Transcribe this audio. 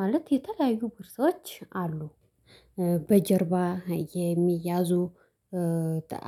ማለት የተለያዩ ቦርሳዎች አሉ። በጀርባ የሚያዙ